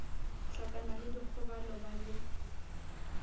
hlakana le dikgobalo ba be